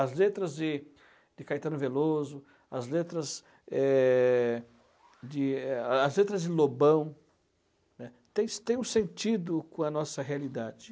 As letras de de Caetano Veloso, as letras é de é a as letras de Lobão né elas tem um sentido com a nossa realidade.